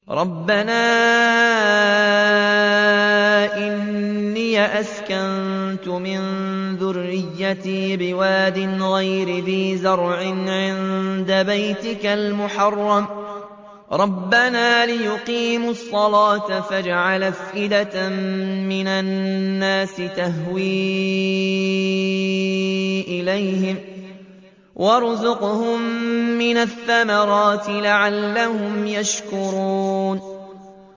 رَّبَّنَا إِنِّي أَسْكَنتُ مِن ذُرِّيَّتِي بِوَادٍ غَيْرِ ذِي زَرْعٍ عِندَ بَيْتِكَ الْمُحَرَّمِ رَبَّنَا لِيُقِيمُوا الصَّلَاةَ فَاجْعَلْ أَفْئِدَةً مِّنَ النَّاسِ تَهْوِي إِلَيْهِمْ وَارْزُقْهُم مِّنَ الثَّمَرَاتِ لَعَلَّهُمْ يَشْكُرُونَ